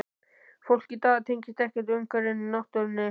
Fólk í dag tengist ekkert umhverfinu, náttúrunni.